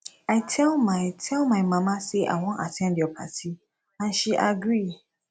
i tell my tell my mama say i wan at ten d your party and she agree